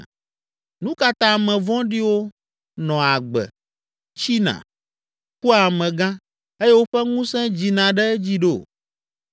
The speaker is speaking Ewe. Nu ka ta ame vɔ̃ɖiwo nɔa agbe, tsina, kua amegã, eye woƒe ŋusẽ dzina ɖe edzi ɖo?